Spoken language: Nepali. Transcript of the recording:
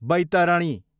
बैतरणी